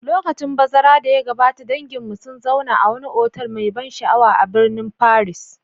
Lokacin bazara da ya gabata, danginmu sun zauna a wani otal mai ban sha'awa a birnin Paris.